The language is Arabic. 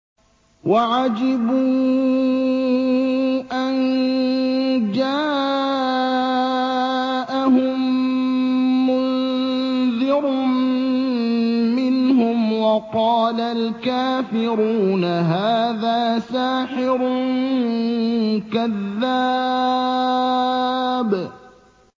وَعَجِبُوا أَن جَاءَهُم مُّنذِرٌ مِّنْهُمْ ۖ وَقَالَ الْكَافِرُونَ هَٰذَا سَاحِرٌ كَذَّابٌ